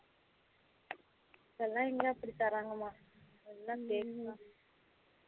அதுலாம் எங்க அப்படி தறாங்கமா அதுலாம் fake தா